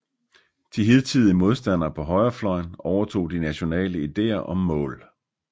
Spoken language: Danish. De hidtidige modstandere på højrefløjen overtog de nationale ideer og mål